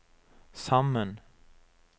sammen